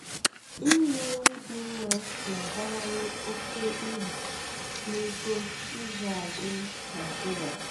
inye nri dị mma na-abawanye oke uru n'ugbo ịzụ azụ Naịjiria.